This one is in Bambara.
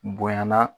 Bonyana